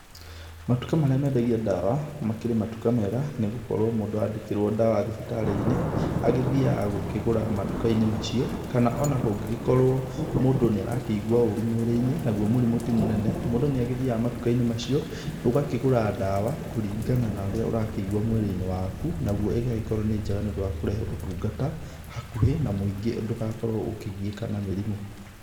Matuka marĩa mendagia ndawa makĩrĩ matuka mega nĩgũkorwo mũndũ andĩkirwa ndawa thibitarĩinĩ agĩthiana gũkĩgũra matukainĩ macio kana ona kũngĩgĩkorwo mũndũ nĩarakĩigua ũrũ mwĩrĩini naũo mũrimũ ti mũnene mũndũ nĩathiaga matukainĩ macio ũgakĩgũra ndawa kũrĩngana na ũria ũrakĩigua mwĩrĩinĩ waku naguo ĩgakorwo nĩ njega nĩkũrehe ũtungata hakuhĩ na mũingĩ ndũgakorwo ũkĩgiĩka na mĩrimũ.